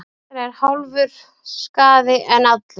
Betra er hálfur skaði en allur.